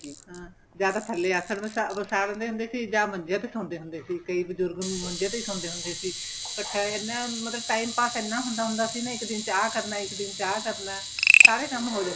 ਤੇ ਹਾਂ ਜਾਂ ਤੇ ਥੱਲੇ ਆਸਨ ਵਸਾ ਲੈਂਦੇ ਹੁੰਦੇ ਸੀ ਜਾਂ ਮੱਜ਼ੇ ਵਸਾਉਦੇ ਹੁੰਦੇ ਸੀ ਕਈ ਬਜ਼ੁਰਗ ਮੰਜੇ ਤੇ ਹੀ ਸੋਂਦੇ ਹੁੰਦੇ ਸੀ but ਇਹ ਨਾ ਮਤਲਬ time pass ਐੱਨਾ ਹੁੰਦਾ ਸੀ ਕਿ ਇੱਕ ਦਿਨ ਚ ਆਂ ਕਰਨਾ ਇੱਕ ਦਿਨ ਚ ਆਂ ਕਰਨਾ ਸਾਰੇ ਕੰਮ ਹੋ ਜਾਂਦੇ ਸੀ